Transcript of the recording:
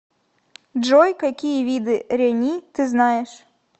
джой какие виды рени ты знаешь